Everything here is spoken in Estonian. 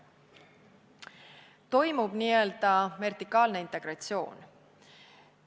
Toimub nii-öelda vertikaalne integratsioon.